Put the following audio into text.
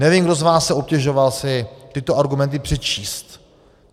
Nevím, kdo z vás se obtěžoval si tyto argumenty přečíst.